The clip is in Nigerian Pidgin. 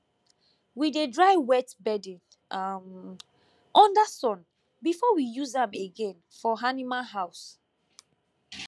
we dey dry wet bedding um under sun before we use am again for animal house